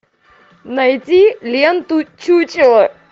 найди ленту чучело